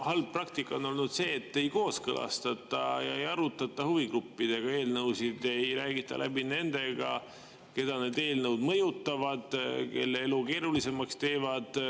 halb praktika on olnud see, et ei kooskõlastata ega arutata huvigruppidega eelnõusid, ei räägita läbi nendega, keda need eelnõud mõjutavad, kelle elu keerulisemaks teevad.